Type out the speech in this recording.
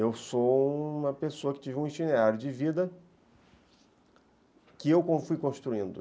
Eu sou uma pessoa que teve um itinerário de vida que eu fui construindo.